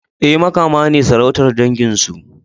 E, Makama ne sarautar dangin su.